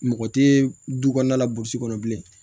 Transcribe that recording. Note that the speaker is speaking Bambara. Mɔgɔ tɛ du kɔnɔna la burusi kɔnɔ bilen